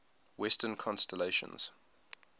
western constellations